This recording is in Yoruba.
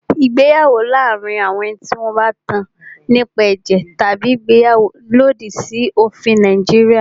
Ìgbéyàwó láàárín àwọn tí wọn bá tán nípa ẹ̀jẹ̀ tabi ìgbéyàwó lòdì sí òfin Nàìjíríà.